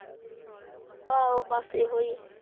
ਆਹੋ ਬਸ ਇਹੋ ਹੀ